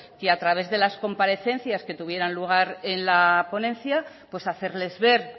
que a través de las comparecencias que tuvieran lugar en la ponencia pues hacerles ver